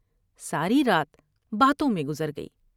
ساری رات باتوں میں گزرگئی ۔